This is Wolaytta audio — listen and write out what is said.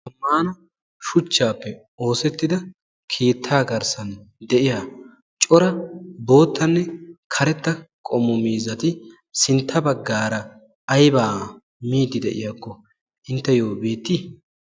tammaana shuchchaappe oosettida kiittaa garssan de'iya cora boottanne karetta qomu miizati sintta baggaara aybaa miidi de'iyaakko intteyyo beettii?